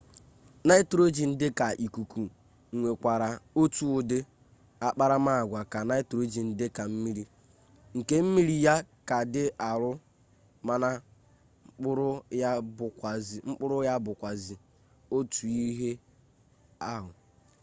nitrogen dika ikuku nwekwara otu udi akparamaagwa ka nitrogen dika mmiri nke mmiri ya ka di aru mana kpuru ya bukwazi otu ihe ahu